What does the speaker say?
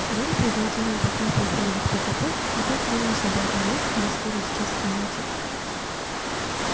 гарри признательно похлопал фордик по капоту и тот тронулся обратно в лес где вскоре исчез в темноте